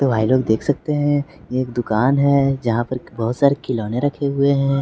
देख सकते हैं ये एक दुकान है जहां पर बहोत सारे खिलौने रखे हुए हैं।